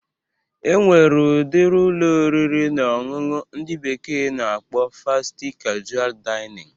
E nwere udiri Ụlọ oriri na ọṅụṅụ ndị bekee na-akpọ Fasti kajual Dainịn